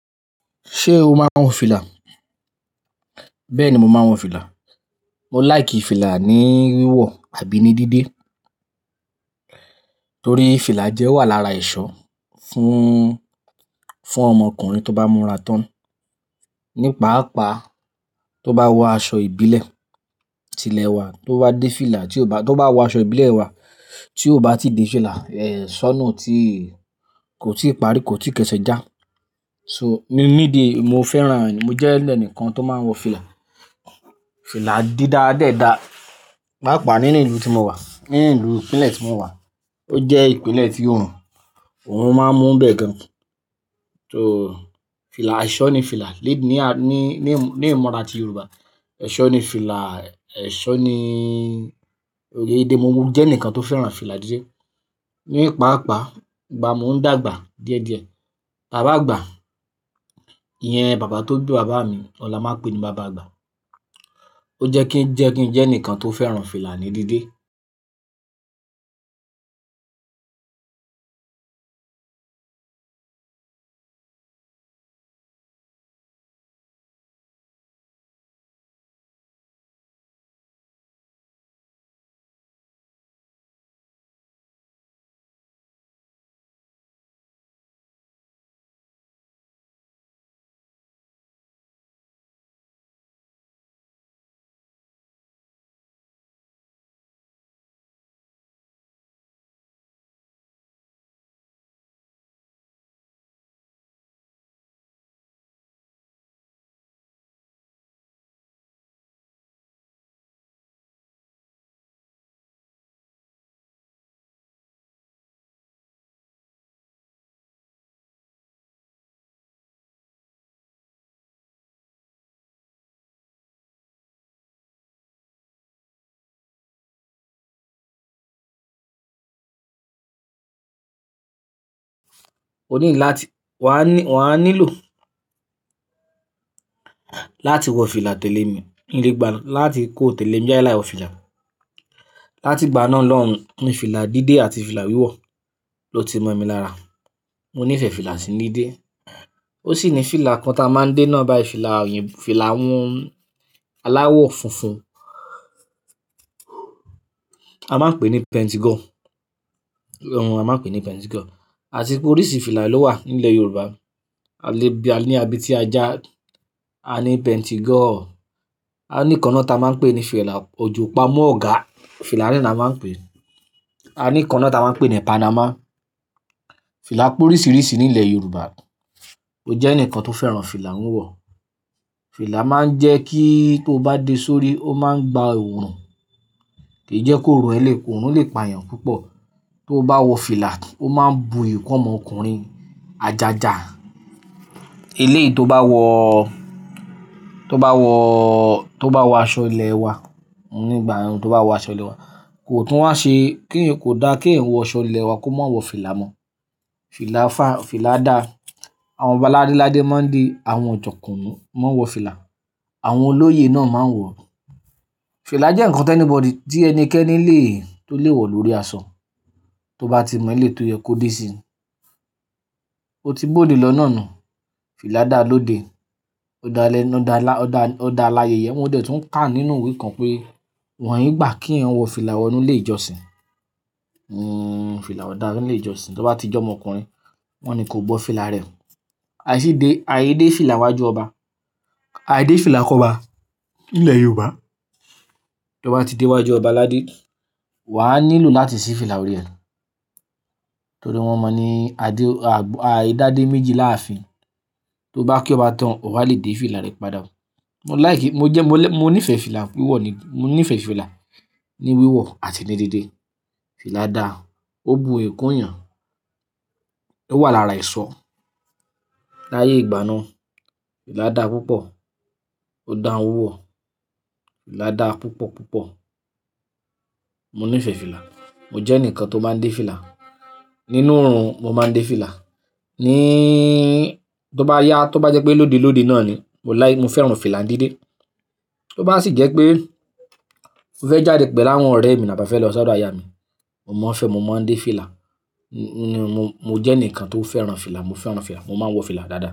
Ṣé o máa ń wọ fìlà? Bẹ́ẹ̀ni, mo máa ń wọ fìlà. Mo láì kí fìlà ní wíwọ̀ àbí ní dídé. Torí fìlà jẹ́ ewa lára èṣọ́ fún, fún ọmọ ọkùnrin tó bá múra tán. Ní pa'apa tó bá wọ aṣọ ìbílẹ̀. Tilẹ̀ wá, tó bá dé fìlà tí ó bá, tó bá wọ aṣọ ìbílẹ̀ wá tí ó bá ti di fìlà, eh, ṣọ́nù tí kò tí ì parí, kò tí ì kẹ́ṣọ̀ já. So, mi, mi di mo fẹ́ran, mo jẹ́ ẹlẹ́nìkan tó máa ń wọ fìlà. Fìlà dídá dẹ́ dá, pàápàá nínú ìlú tí mo wà, nínú ìlú ìpínlẹ̀ tí mo wà. Ó jẹ́ ìpínlẹ̀ tí oòrùn, oòrùn máa ń múbẹ̀ gan. So, fìlà, ẹ̀ṣọ́ ni fìlà lé ní a, ní, ní ìmọra ti Yorùbá. Ẹ̀ṣọ́ ni fìlà, ẹ̀ṣọ́ ni, mo jẹ́ ẹnìkan tó fẹ́ran fìlà díde. Ní pa'apa ìgbà mo ń dàgbà díẹ̀díẹ̀, bàbá àgbà, ìyẹn bàbá tó bi bàbá mi, ọ̀'la máa pè ní bàbá àgbà. Ó jẹ́ kí ń jẹ́ kí ń jẹ́ ẹnìkan tó fẹ́ran fìlà ní dídé. O need làti wà á ní, wà á nílò láti wọ fìlà tẹ́lẹ̀ mi n le gbà, láti kó tẹ́lẹ̀ mí jáde láì wọ fìlà. Láti ìgbà náà lọ́hùn, ní fìlà dídé àti fìlà wíwọ̀ ló ti mọ̀ mi lára. Mo nífẹ̀ẹ́ fìlà sí ní dé. Ó sì ni fìlà kan ta máa ń dé náà báyìí, fìlà òyìnbó, fìlà àwọ́n aláwọ̀ funfun. A máa ń pè ní pentigo. Hun a máa ń pè ní pentigo. Àti pé oríṣi fìlà ló wà nílẹ̀ Yorùbá. A lè bí a ní, abetí ajá, a ní pentigo, a ní ìkan náa ta máa ń pè ní fìlà ojo pamọ́ ọ̀gá, fìlà náà ni a máa ń pè é. A ní ìkan naá ta máa ń pè ní Panama. Fìlà pé oríṣiríṣi nílẹ̀ Yorùbá. Mo jẹ́ ẹnìkan tó fẹ́ran fìlà wíwọ̀. Fìlà máa ń jẹ́ kí tó bá dé sórí, ó máa ń gba òórùn. Kì í jẹ́ kóorun ẹ lẹ̀, òórùn lè payan púpọ̀. Tó bá wọ fìlà, ó máa ń buyì kun ọ́mọ ọkùnrin ajaja. Eléyìí tó bá wọ, tó bá wọ, tó bá wọ aṣọ ilẹ̀ wa nígbà mi tó bá wọ aṣọ ilẹ̀ wa, kò tún wá ṣe kí ì kò dáa kí ẹ̀eyan wọ aṣọ ilẹ̀ wa kó má wọ fìlà mọ́. Fìlà fá, fìlà dá. Àwọn ọba ládéládé mo ń de àwọn ojọ̀kúnu, mo ń wọ fìlà. Àwọn olóyè náà máa ń wọ. Fìlà jẹ́ ǹnkan tí anybody, tí ẹnikẹ́ni lè, tó lè wọ lórí aṣọ. Tó bá ti mọ ìlé tó yẹ kó dé sí i. Ó ti bóde lọ́ náà nu. Fìlà dá lóde. Ó dáa lẹ́nu, ó dáa lá, ó dáa, ó dáa láyèyẹ. Mo dẹ̀ tún ń kà nínú iwe kan pé wọ̀nyí gbà kí eeyan wọ fìlà wọ inú ilé ìjọsìn. Hmm, fìlà ò dára nínú ilé ìjọsìn. Tó bá ti jẹ́ ọmọkùnrin, wọ́n ní kó bọ́ fìlà rẹ̀. Aìsí dé, aìdé fìlà n wá ju ọba. Aìdé fìlà k'ọ́ba nílẹ̀ Yorùbá. Tó bá ti dé wá ju ọba aládé, wà á nílò láti ṣí fìlà órí ẹ. Torí wọ́n mọ̀ ní adé, àgbà, aì dáde méjì láàfin. Tó bá kí ó bá tán, ò bá lè dé fìlà rẹ̀ padà. Mo láì kí, mo jẹ́, mo lé, mo nífẹ̀ẹ́ fìlà wíwọ̀ ní, mo nífẹ̀ẹ́ fìlà ní wíwọ̀ àti ní dídé. Fìlà dáa, ó bu ìyi kún eeyàn. Ó wà lára èṣọ́. Láyè ìgbà náà, fìlà dá púpọ̀. Ó dáa wíwọ̀. Fìlà dá púpọ̀ púpọ̀. Mo nífẹ̀ẹ́ fìlà. Mo jẹ́ ẹnìkan tó máa ń dé fìlà. Nínú òrùn, mo máa ń dé fìlà. Ní, tó bá yá, tó bá jẹ́ pé lódi lódi náà ni, mo láì, mo fẹ́ran fìlà n díde. Tó bá sì jẹ́ pé mo fẹ́ jáde pẹ̀lú àwọn ọ̀rẹ́ mi, tàbi a fẹ́ lọ sọ́dò aya mi, mo máa ń fẹ́, mo máa ń dé fìlà. Mo, mo jẹ́ ẹnìkan tó fẹ́ran fìlà, mo fẹ́ran fìlà, mo máa ń wọ fìlà dáadáa.